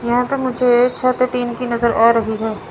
यहां पे मुझे छत टीन की नजर आ रही है।